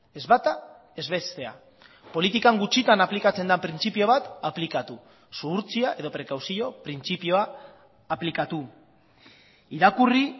ez bata ez bestea politikan gutxitan aplikatzen den printzipio bat aplikatu zuhurtzia edo prekauzio printzipioa aplikatu irakurri